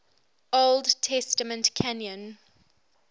old testament canon